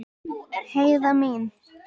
Heiða mín.